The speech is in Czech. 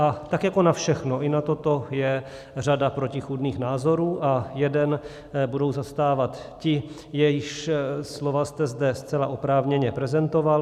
A tak jako na všechno, i na toto je řada protichůdných názorů a jeden budou zastávat ti, jejichž slova jste zde zcela oprávněně prezentoval.